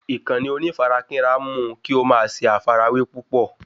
Ìkànnì onífarakínra mú kí o ma ṣe àfàrawẹ́ púpọ̀